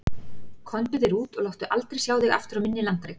Komdu þér út og láttu aldrei sjá þig aftur á minni landareign.